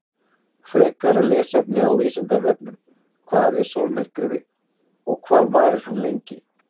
Frekara lesefni á Vísindavefnum: Hvað er sólmyrkvi og hvað varir hann lengi?